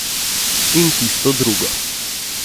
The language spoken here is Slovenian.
In tisto drugo.